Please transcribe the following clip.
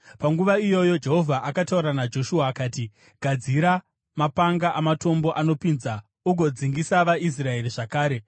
Panguva iyoyo Jehovha akataura naJoshua akati, “Gadzira mapanga amatombo anopinza ugodzingisa vaIsraeri zvakare.”